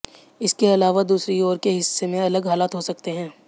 इसके अलावा दूसरी ओर के हिस्से में अलग हालात हो सकते हैं